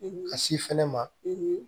ka si fɛnɛ ma